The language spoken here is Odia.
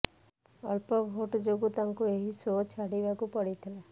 ଅଳ୍ପ ଭୋଟ ଯୋଗୁଁ ତାଙ୍କୁ ଏହି ଶୋ ଛାଡିବାକୁ ପଡିଥିଲା